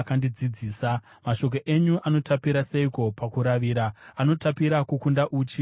Mashoko enyu anotapira seiko pakuaravira, anotapira kukunda uchi mumukanwa mangu!